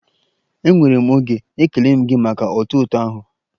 Enwere m oge, ekele m gị maka otuto ahụ.